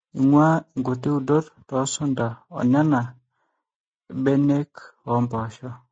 eing'uaa inkuti udot toosunta oonena be iak oompoosho